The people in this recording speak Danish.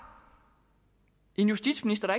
en justitsminister